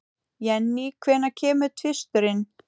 Jenny, hvenær kemur tvisturinn?